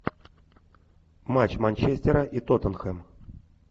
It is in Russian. матч манчестера и тоттенхэм